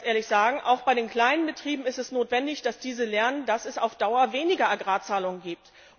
Da müssen wir ganz ehrlich sagen, auch bei den kleinen Betrieben ist es notwendig, dass diese lernen, dass es auf Dauer weniger Agrarzahlungen gibt.